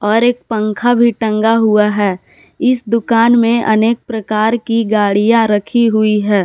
और एक पंखा भी टंगा हुआ है इस दुकान में अनेक प्रकार की गाड़ियां रखी हुई है।